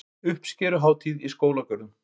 Uppskeruhátíð í skólagörðum